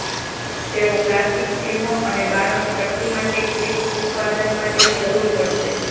તેઓ પ્લાસ્ટિક ફિલ્મો અને બારણું ટકી માટે ક્લિપ્સ ઉત્પાદન માટે જરૂર પડશે